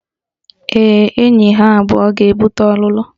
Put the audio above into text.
Ee, enyi ha abụọ ga-ebute ọlụlụ